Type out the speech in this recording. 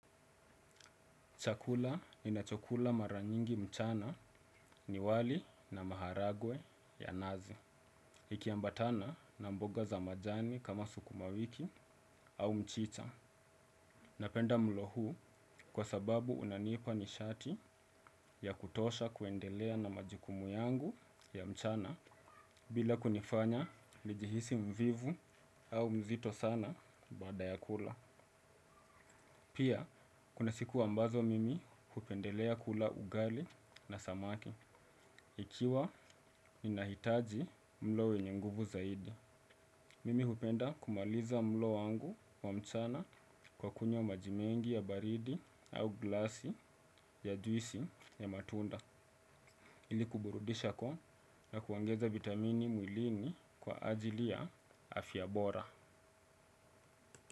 Chakula ninachokula mara nyingi mchana ni wali na maharagwe ya nazi. Ikiambatana na mboga za majani kama sukuma wiki au mchicha. Napenda mlo huu kwa sababu unanipa nishati ya kutosha kuendelea na majukumu yangu ya mchana bila kunifanya nijihisi mvivu au mzito sana baada ya kula. Pia kuna siku ambazo mimi hupendelea kula ugali na samaki. Ikiwa ninahitaji mlo wenye nguvu zaidi. Mimi hupenda kumaliza mlo wangu wa mchana kwa kunywa maji mengi ya baridi au glasi ya juisi ya matunda. Ili kuburudisha koo na kuongeza vitamini mwilini kwa ajili ya afya bora.